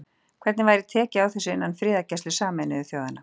Hvernig væri tekið á þessu innan friðargæslu Sameinuðu þjóðanna?